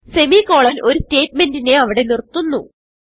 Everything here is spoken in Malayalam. സെമിക്കോളൻ ഒരു സ്റ്റാറ്റ്മെന്റ് നെ അവിടെ നിർത്തുന്നു